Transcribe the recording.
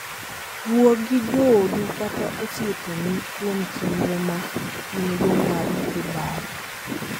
Wuo gi joodu kata osiepeni kuom chenro ma in-go mar dhi bayo.